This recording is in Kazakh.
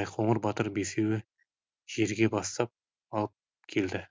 байқоңыр батыр бесеуі жерге бастап алып келді